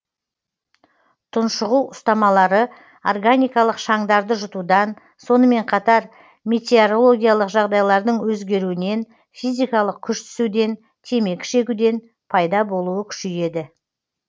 тұншығу ұстамалары органикалық шаңдарды жұтудан сонымен қатар метереологиялық жағдайлардың өзгеруінен физикалық күш түсуден темекі шегуден пайда болуы күшейеді